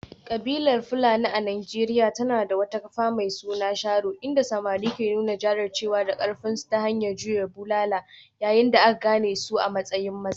Kabilar Fulani a Najeriya tana da wata kafa mai suna sharo, inda samari ke nuna jajircewa da karfinsu ta hanyar jure wa bulala yayin da aka gane su a matsayin maza.